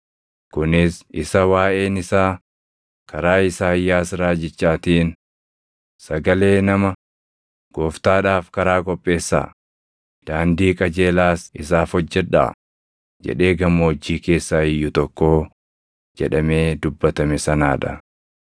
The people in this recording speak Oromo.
Kunis isa waaʼeen isaa karaa Isaayyaas raajichaatiin, “Sagalee nama, ‘Gooftaadhaaf karaa qopheessaa; daandii qajeelaas isaaf hojjedhaa’ jedhee gammoojjii keessaa iyyu tokkoo” + 3:3 \+xt Isa 40:3\+xt* jedhamee dubbatame sanaa dha.